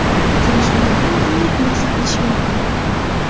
Uchrashuvlardan qanday xulosa qilish mumkin?